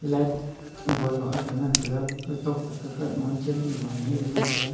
light bull low aak ga ngan tega kaw tok te kaw thak chem low e le ngan tega.